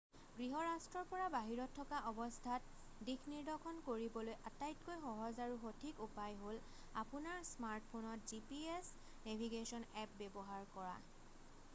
গৃহ ৰাষ্ট্ৰৰ পৰা বাহিৰত থকা অৱস্থাত দিশনিদৰ্শন কৰিবলৈ আটাইতকৈ সহজ আৰু সঠিক উপায় হ'ল আপোনাৰ স্মাৰ্ট ফোনত gps নেভিগেশ্বন এপ্প ব্যৱহাৰ কৰা